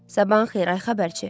Sabahın xeyir, ay xəbərçi.